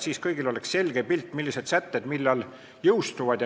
Kõigil peaks olema selge pilt, millised sätted millal jõustuvad.